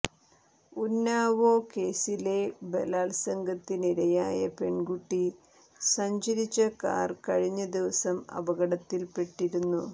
ഉന്നാവോ കേസിലെ ബലാത്സംഗത്തിനിരയായ പെൺകുട്ടി സഞ്ചരിച്ച കാർ കഴിഞ്ഞ ദിവസം അപകടത്തിൽ പെട്ടിരുന്നു